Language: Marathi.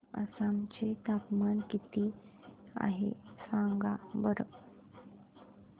आसाम चे तापमान किती आहे सांगा बरं